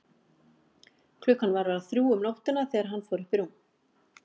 Klukkan var að verða þrjú um nóttina þegar hann fór upp í rúm.